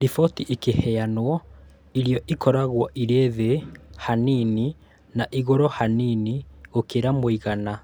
Riboti ĩkĩheanwo irio ikoragwo irĩ thĩ hanini na igũrũ hanini gũkĩra mũigana